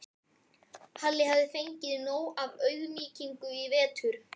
Halli hafði fengið nóg af auðmýkingu í vetur.